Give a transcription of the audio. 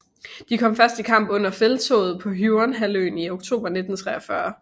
De kom først i kamp under felttoget på Huon halvøen i oktober 1943